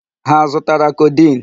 Ha azụtara codeine?